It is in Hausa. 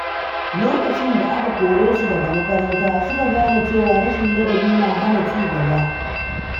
Lokacin da aka kore su daga makaranta, suka gane cewa rashin ladabi na hana cigaba.